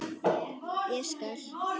Ég skal!